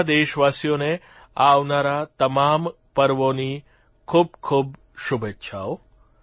બધા દેશવાસીઓને આવનારા તમામ પર્વોની ખૂબખૂબ શુભેચ્છાઓ